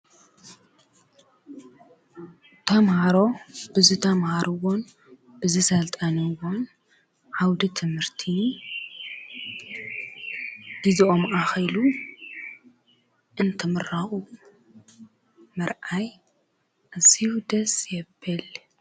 ተምሃሮ ብዝ ተምሃርዎን ብዝ ሰልጣንዎን ዓውዲ ትምህርቲ ግዚኦም ኣኺሉ እንትምርዐዉ ምርኣይ ደስ ይብል።